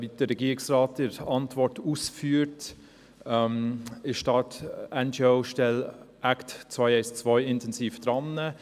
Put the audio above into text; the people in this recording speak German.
Wie der Regierungsrat in seiner Antwort ausführt, befasst sich die NGO-Stelle Act212 intensiv damit.